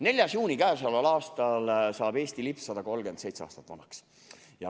4. juunil k.a saab Eesti lipp 137 aastat vanaks.